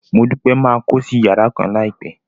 Modupe máa kósí yàrá kan láìpẹ́.